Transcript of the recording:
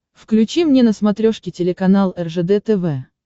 включи мне на смотрешке телеканал ржд тв